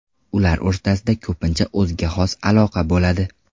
Ular o‘rtasida ko‘pincha o‘ziga xos aloqa bo‘ladi.